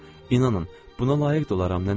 İnanın, buna layiq də olaram nənə.